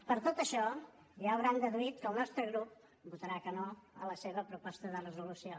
per tot això ja deuen haver deduït que el nostre grup votarà que no a la seva proposta de resolució